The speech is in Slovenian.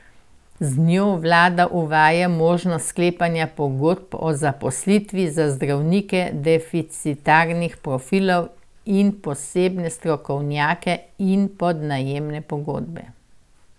Z njo vlada uvaja možnost sklepanja pogodb o zaposlitvi za zdravnike deficitarnih profilov in posebne strokovnjake in podjemne pogodbe.